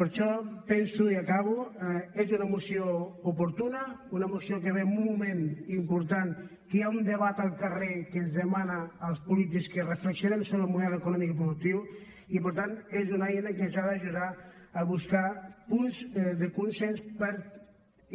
per això penso i acabo que és una moció oportuna una moció que ve en un moment important en què hi ha un debat al carrer que ens demana als polítics que reflexionem sobre el model econòmic i productiu i per tant és una eina que ens ha d’ajudar a buscar punts de consens per